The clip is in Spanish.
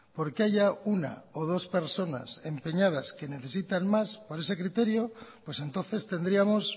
porque haya una o dos personas empeñadas que necesitan más por ese criterio pues entonces tendríamos